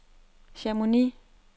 Chamonix